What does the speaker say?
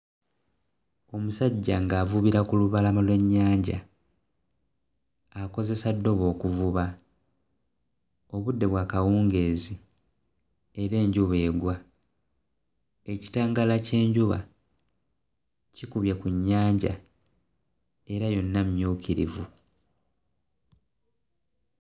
Omusajja ng'avubira ku lubalama lw'ennyanja, akozesa ddobo okuvuba. Obudde bwa kawungeezi era enjuba egwa, ekitangaala ky'enjuba kikubye ku nnyanja, era yonna mmyukirivu